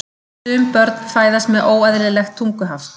Sum börn fæðast með óeðlilegt tunguhaft.